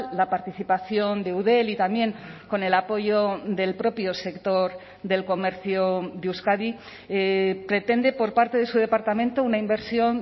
la participación de eudel y también con el apoyo del propio sector del comercio de euskadi pretende por parte de su departamento una inversión